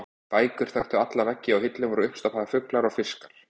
Bækur þöktu alla veggi og á hillum voru uppstoppaðir fuglar og fiskar.